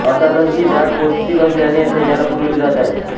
अर्थातच ही डाळ पौष्टिक असल्यानेच सैन्याला पुरविली जात आहे